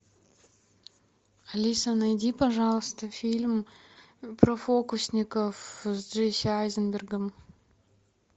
алиса найди пожалуйста фильм про фокусников с джесси айзенбергом